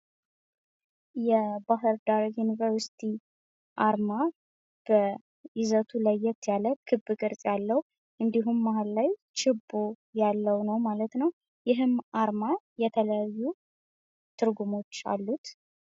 የባህር ዳር ዩኒቨርስቲ አርማ ይዘቱ ለየት ያለ ክብ የሆነ እንድሁም መሀል ላይ ችቦ ያለው ነው ማለት ነው። ይህም አርማ የተለያዩ ትርጉሞች አሉት።